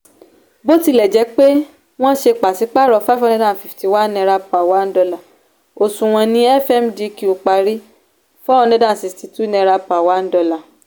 bó tilẹ̀ jẹ́ pé wọ́n ṣe pàsípàrọ̀ five hundred and fifty one naira per one dollar òṣùwọ̀n ní fmdq parí four hundred and sixty two naira per one dollar